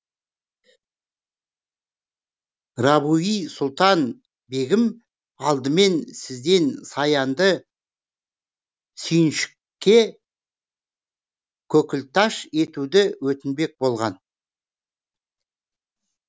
рабиу сұлтан бегім алдымен сізден саянды сүйіншікке көкілташ етуді өтінбек болған